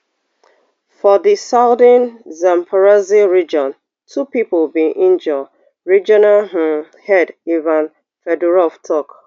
for di southern zaporizhzhia region two pipo bin injure regional um head ivan fedorov tok